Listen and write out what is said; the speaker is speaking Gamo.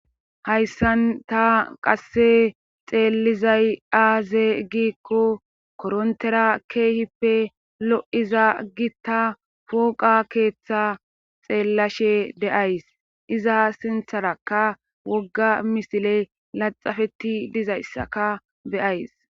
Hayssan ta qasse xeellizay aaze gikko korontera keehippe lo'iza gitta pooqa keeththa xeellashe deyays iza sintharaka wogga misile laxafeti dizayssaka beyays.